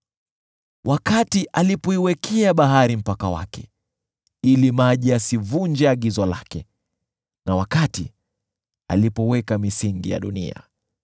wakati aliiwekea bahari mpaka wake ili maji yasivunje agizo lake, na wakati aliweka misingi ya dunia.